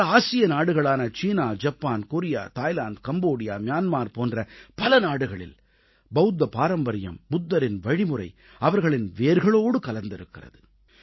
பல ஆசிய நாடுகளான China Japan Korea Thailand Cambodia Myanmar போன்ற பல நாடுகளில் பவுத்த பாரம்பரியம் புத்தரின் வழிமுறை அவர்களின் வேர்களோடு கலந்திருக்கிறது